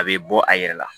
A bɛ bɔ a yɛrɛ la